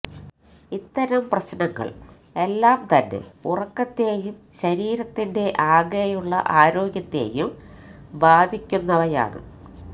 ഇത്തരം പ്രശ്നങ്ങള് എല്ലാം തന്നെ ഉറക്കത്തെയും ശരീരത്തിന്റെ ആകെയുള്ള ആരോഗ്യത്തെയും ബാധിയ്ക്കുന്നവയാണ്